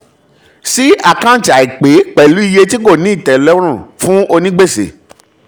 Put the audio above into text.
sí àkántì àìpé pẹ̀lú iye tí kò ní ìtẹlọ́rùn fún onígbèsè.